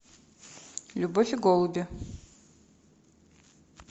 любовь и голуби